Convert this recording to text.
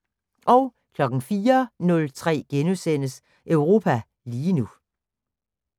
04:03: Europa lige nu *